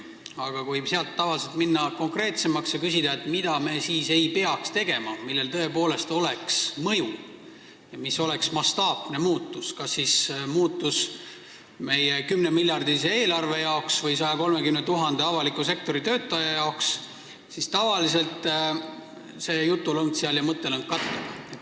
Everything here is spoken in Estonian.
Aga kui minna konkreetsemaks ja küsida, mida siis ei peaks tegema, millel tõepoolest oleks mõju ja mis oleks mastaapne muutus kas siis meie 10-miljardilise eelarve või 130 000 avaliku sektori töötaja jaoks, siis tavaliselt jutulõng ja mõttelõng katkeb.